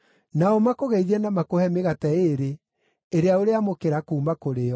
Nao makũgeithie na makũhe mĩgate ĩĩrĩ, ĩrĩa ũrĩamũkĩra kuuma kũrĩ o.